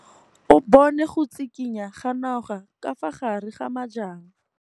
O bone go tshikinya ga noga ka fa gare ga majang.